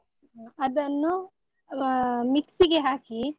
ಅದನ್ನು ಹ mixie ಗೆ ಹಾಕಿ.